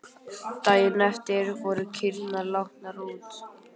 Daginn eftir voru kýrnar látnar út.